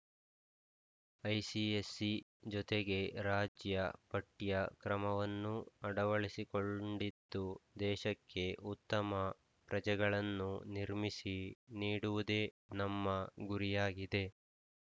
ICSE ಜೊತೆಗೆ ರಾಜ್ಯ ಪಠ್ಯ ಕ್ರಮವನ್ನೂ ಅಡವಳಿಸಿಕೊಂಡಿದ್ದು ದೇಶಕ್ಕೆ ಉತ್ತಮ ಪ್ರಜೆಗಳನ್ನು ನಿರ್ಮಿಸಿ ನೀಡುವುದೇ ನಮ್ಮ ಗುರಿಯಾಗಿದೆ